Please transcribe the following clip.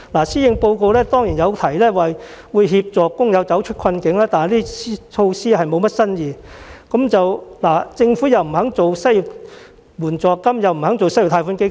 施政報告當然有提及協助工友走出困境，但措施欠缺新意，政府既拒絕推出失業援助金，又拒絕推出失業貸款基金。